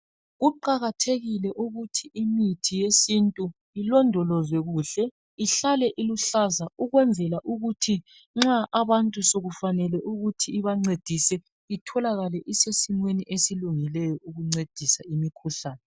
Kuqakathekile ukuthi imithi yesintu ilondolozwe kuhle ihlale iluhlaza ukwenzela ukuthi nxa abantu sokufanele ukuthi ibancedise itholakale isesimeni esilungileyo ukuncedisa imikhuhlane.